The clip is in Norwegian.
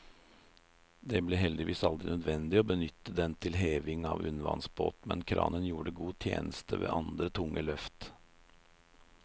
Det ble heldigvis aldri nødvendig å benytte den til heving av undervannsbåt, men kranen gjorde god tjeneste ved andre tunge løft.